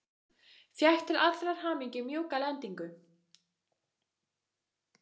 Fékk til allrar hamingju mjúka lendingu.